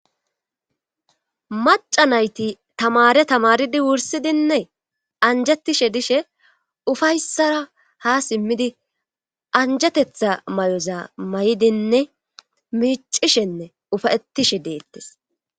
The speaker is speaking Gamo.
maca nayti tamare tamaridi wursidinne anjattishe dishe ufayssara ha simmidi anjatetha may7oza may7idinne miicishenne ufayetishe deettes